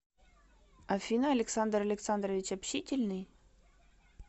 афина александр александрович общительный